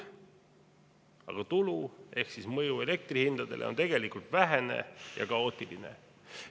Aga tulu ehk mõju elektri hindadele on tegelikult vähene ja kaootiline.